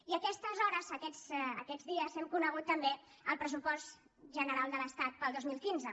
i a aquestes hores aquests dies hem conegut també el pressupost general de l’estat per al dos mil quinze